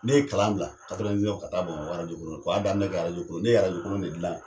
Ne ye kalan bila ka taa Bamakɔ ka w'a daminɛ kɛ arajo kolon ne ye arajo kolon de dilan